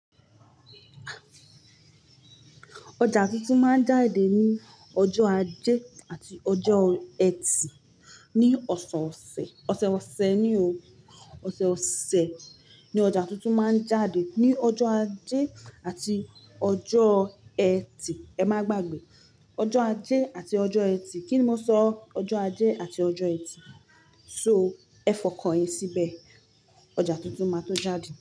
Ọjà tuntun máa ń jáde ní ọjọ́ ajé àti ọjọ́ ẹtì ní ọ̀sọ̀ọ̀sẹ̀ ọ̀sẹ̀ ọ̀sẹ̀ ni o. Ọ̀sẹ̀ ọ̀sẹ̀ ni ọjà tuntun máa ń jáde ní ọjọ́ ajé àti ọjọ́ ẹtì. Ẹ má gbàgbé. Ọjọ́ ajé àti ọjọ́ ẹtì. Kíni mo sọ? Ọjọ́ ajé àti ọjọ́ ẹtì. So ẹ fọkàn yín síbẹ̀. Ọjà tuntun máa tó jáde.